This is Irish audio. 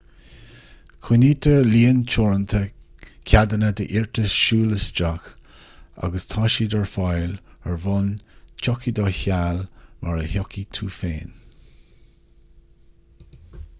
coinnítear líon teoranta ceadanna d'iarratais siúl isteach agus tá siad ar fáil ar bhonn tiocfaidh do sheal mar a thiocfaidh tú féin